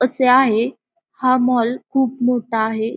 असे आहे हा मॉल खूप मोठा आहे.